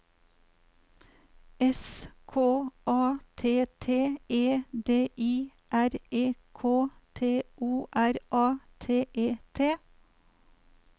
S K A T T E D I R E K T O R A T E T